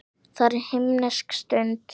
Það er himnesk stund.